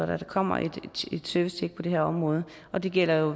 der kommer et servicetjek på det her område og det gælder